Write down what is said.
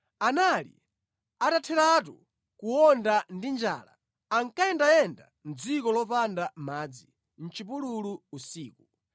Anali atatheratu kuwonda ndi njala, ankayendayenda mʼdziko lopanda madzi, mʼchipululu usiku.